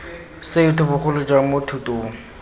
setho bogolo jang mo thutong